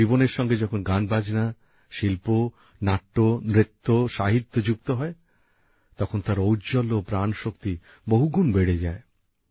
কিন্তু জীবনের সঙ্গে যখন গানবাজনা শিল্প নৃত্যনাট্য সাহিত্য যুক্ত হয় তখন তার ঔজ্বল্য ও প্রাণশক্তি বহুগুণ বেড়ে যায়